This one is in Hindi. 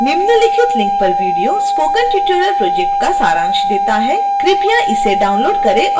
निम्नलिखित link पर video spoken tutorial project का सारांश देता है कृपया इसे डाउनलोड करें और देखें